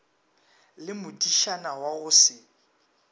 le modišana wa go se